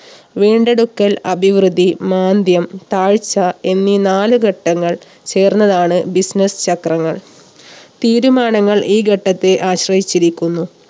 വീണ്ടെടുക്കൽ അഭിവൃദ്ധി മാന്ദ്യം താഴ്ച എന്നീ നാല് ഘട്ടങ്ങൾ ചേർന്നതാണ് business ചക്രങ്ങൾ. തീരുമാനങ്ങൾ ഈ ഘട്ടത്തെ ആശ്രയിച്ചിരിക്കുന്നു